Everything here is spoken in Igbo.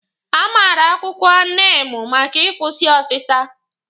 A maara akwụkwọ niimu maka ịkwụsị ọzịza